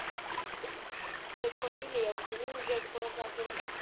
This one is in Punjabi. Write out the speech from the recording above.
ਮੇਰੀ mummy ਲੈ ਆਊਗੀ ਨਾ ਓਹਨੂੰ gate ਕੋਲੋਂ ਜਾ ਕੇ।